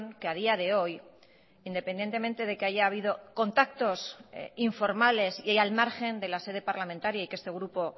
que a día de hoy independientemente de que haya habido contactos informales y al margen de la sede parlamentaria y que este grupo